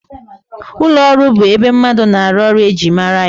Ụlọọrụ bụ ebe mmadụ na-arụ ọrụ e ji mara ya